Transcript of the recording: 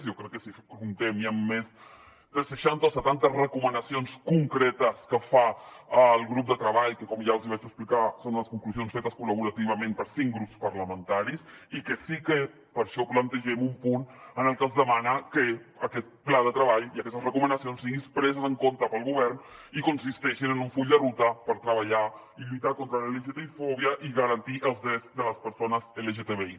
jo crec que comptem ja amb més de seixanta o setanta recomanacions concretes que fa el grup de treball que com ja els hi vaig explicar són unes conclusions fetes col·laborativament per cinc grups parlamentaris i que sí que per això plantegem un punt en el que es demana que aquest pla de treball i aquestes recomanacions siguin preses en compte pel govern i consisteixin en un full de ruta per treballar i lluitar contra la lgtbi fòbia i garantir els drets de les persones lgtbi